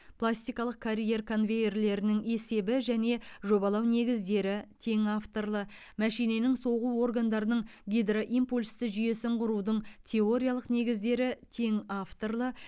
пластикалық карьер конвейерлерінің есебі және жобалау негіздері тең авторлы мәшиненің соғу органдарының гидроимпульсті жүйесін құрудың теориялық негіздері тең авторлы